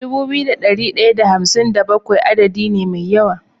Dubu biyu da dari daya da hamsin da bakwai adadi ne me yawa